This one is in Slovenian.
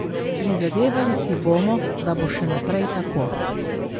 Prizadevali si bomo, da bo še naprej tako.